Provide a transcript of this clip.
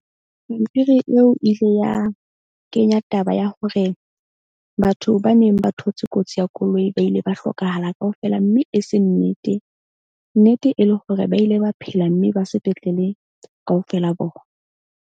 Pampiri eo ile ya kenya taba ya hore batho ba neng ba thotse kotsi ya koloi ba ile ba hlokahala kaofela. Mme e se nnete, nnete e le hore ba ile ba phela mme ba sepetlele kaofela bona.